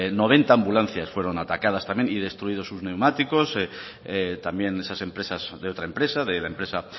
noventa ambulancias fueron atacadas también y destruidos sus neumáticos también esas empresas de otra empresa de la empresa